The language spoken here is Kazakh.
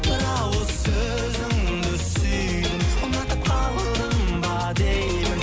бір ауыз сөзіңді сүйдім ұнатып қалдым ба деймін